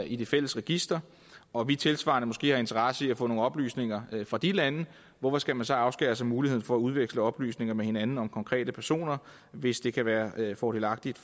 i det fælles register og vi tilsvarende måske har interesse i at få nogle oplysninger fra de lande hvorfor skal man så afskære sig muligheden for at udveksle oplysninger med hinanden om konkrete personer hvis det kan være fordelagtigt